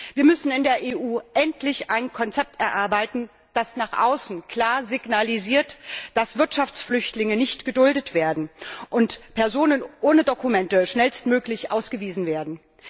Wir müssen in der EU endlich ein Konzept erarbeiten, das nach außen klar signalisiert, dass Wirtschaftsflüchtlinge nicht geduldet werden und Personen ohne Dokumente schnellstmöglich ausgewiesen werden.